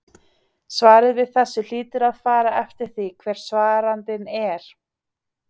Svarið við þessu hlýtur að fara eftir því hver svarandinn er.